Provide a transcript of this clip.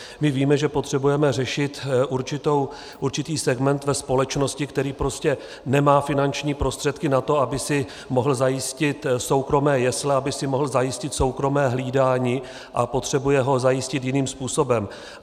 My víme, že potřebujeme řešit určitý segment ve společnosti, který prostě nemá finanční prostředky na to, aby si mohl zajistit soukromé jesle, aby si mohl zajistit soukromé hlídání, a potřebuje ho zajistit jiným způsobem.